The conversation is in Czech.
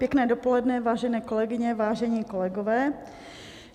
Pěkné dopoledne, vážené kolegyně, vážení kolegové.